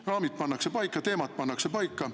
Raamid pannakse paika, teemad pannakse paika.